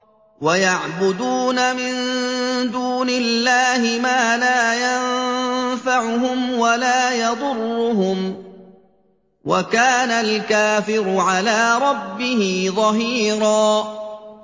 وَيَعْبُدُونَ مِن دُونِ اللَّهِ مَا لَا يَنفَعُهُمْ وَلَا يَضُرُّهُمْ ۗ وَكَانَ الْكَافِرُ عَلَىٰ رَبِّهِ ظَهِيرًا